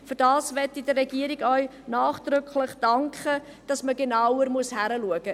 ich möchte der Regierung auch nachdrücklich dafür danken, dass man genauer hinschauen muss.